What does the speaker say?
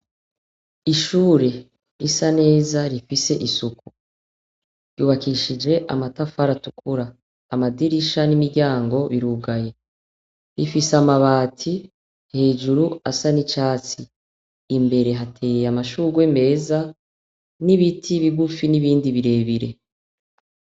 Ishure risa neza rifise isuku ry'ubakishije amatafari atukura amadirisha n'imiryango birugaye rifise amabati hejuru asa nicatsi imbere hateye amashurwe meza nibiti bigufi nibindi birebire.